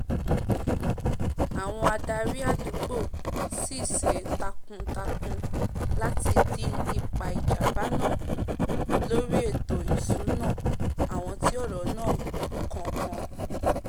àwon adarí àdùgbò sisé takun- takun láti dín ipa ìjàmbá náà kù lórí ètò ìsúná àwon tí ọ̀rọ̀ náà kàn kàn